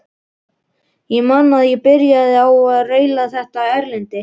Ég man að ég byrjaði á að raula þetta erindi: